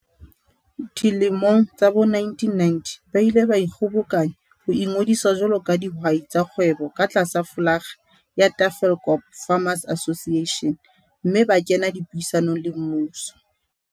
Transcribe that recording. Dilemong tsa bo1990 ba ile ba ikgobokanya ho ingodisa jwalo ka dihwai tsa kgwebo ka tlasa flolaga ya Tafelkop Farmers Association mme ba kena dipuisanong le mmuso.